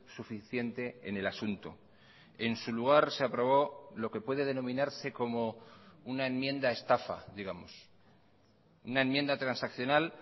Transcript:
suficiente en el asunto en su lugar se aprobó lo que puede denominarse como una enmienda estafa digamos una enmienda transaccional